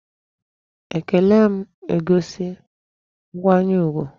Ekele na-egosi nkwanyere ugwu.